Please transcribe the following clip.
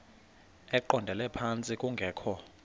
eqondele phantsi kungekho